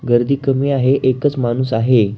गर्दी कमी आहे एकच माणुस आहे.